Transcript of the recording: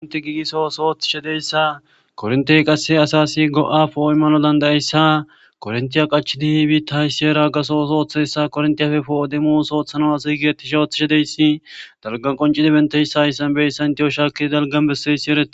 Eti giggiso ootho othishe dizayssa korrontte qasse asas go'a po'o immanawu dandaiyayssa korontte qachchidi biita issi heera gaththo oththo othizayssa koronttefe po'o demmo oththo oththanawu assay othishe dizayssi dalggan qonccidi bettiyayssa hayssan shaki dalggan bessiyayssi eeretes.